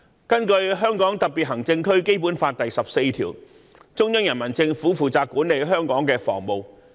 根據《基本法》第十四條，中央人民政府負責管理香港的防務。